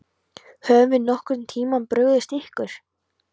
Höfum við nokkurn tímann brugðist ykkur?